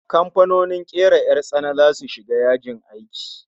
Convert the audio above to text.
Kamfanonin kera 'yar tsana zasu shiga yajin aiki